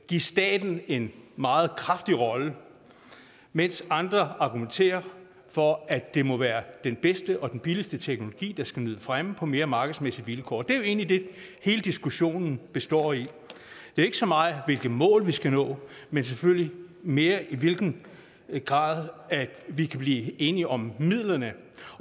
give staten en meget kraftig rolle mens andre argumenterer for at det må være den bedste og den billigste teknologi der skal nyde fremme på mere markedsmæssige vilkår det er jo egentlig det hele diskussionen består i det er ikke så meget hvilke mål vi skal nå men selvfølgelig mere i hvilken grad vi kan blive enige om midlerne